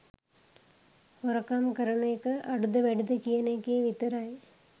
හොරකම් කරන එක අඩුද වැඩිද කියන එකේ විතරයි